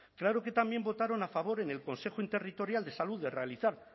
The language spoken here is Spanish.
claro que también votaron a favor en el consejo interterritorial de salud de realizar